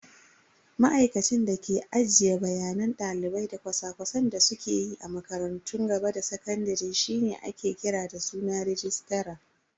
Ma'aikacin da ke ajiye bayanan dalibai da cosa-cosan da suke yi a makarantun gaba da sakandare shine ake kira da suna "Registra".